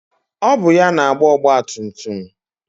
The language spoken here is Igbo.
Ọ bụ ya na-agba ọgbatumtum